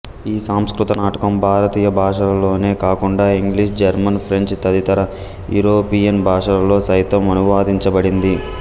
ఈ సంస్కృత నాటకం భారతీయ భాషలలోనే కాకుండా ఇంగ్లీష్ జర్మన్ ఫ్రెంచ్ తదితర యూరోపియన్ భాషలలో సైతం అనువదించబడింది